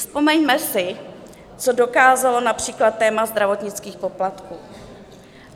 Vzpomeňme si, co dokázalo například téma zdravotnických poplatků.